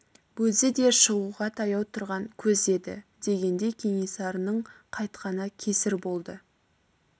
өзі де шығуға таяу тұрған көз еді дегендей кенесарының қайтқаны кесір болды